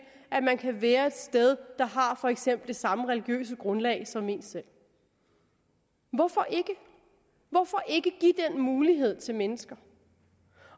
at man kan være et sted der har for eksempel det samme religiøse grundlag som en selv hvorfor ikke hvorfor ikke give den mulighed til mennesker